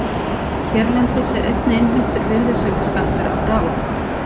Hérlendis er einnig innheimtur virðisaukaskattur af raforku.